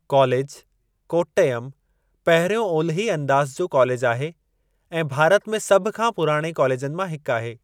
College, Kottayam, पहिरियों ओलिही अंदाज़ु जो कॉलेज आहे, ऐं भारत में सभ खां पुराणे कॉलेजनि मां हिकु आहे।